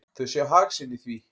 Þau sjá hag sinn í því.